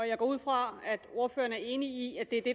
jeg går ud fra at ordføreren er enig i at det er det